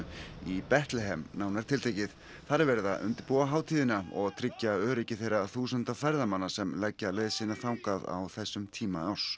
í Betlehem nánar tiltekið þar er verið að undirbúa hátíðina og tryggja öryggi þeirra þúsunda ferðamanna sem leggja leið sína þangað á þessum tíma árs